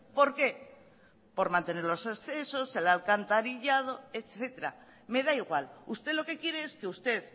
por qué por mantener los accesos el alcantarillado etcétera me da igual usted lo que quiere es que usted